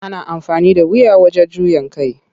Ana amfani da wuya wajen juya kai.